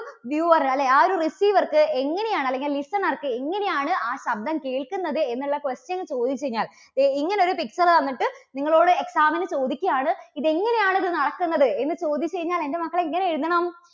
viewer അല്ലെ ആ ഒരു receiver ക്ക് എങ്ങനെയാണ് അല്ലെങ്കിൽ listener ക്ക് എങ്ങനെയാണ് ആ ശബ്ദം കേൾക്കുന്നത് എന്നുള്ള question ചോദിച്ചു കഴിഞ്ഞാൽ ഇ~ഇങ്ങനെ ഒരു picture തന്നിട്ട് നിങ്ങളോട് exam ന് ചോദിക്കുകയാണ്, ഇത് എങ്ങനെയാണ് ഇത് നടക്കുന്നത് എന്ന് ചോദിച്ചു കഴിഞ്ഞാൽ എൻറെ മക്കൾ എങ്ങനെ എഴുതണം?